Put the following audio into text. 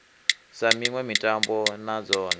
sa miṋwe mitambo na dzone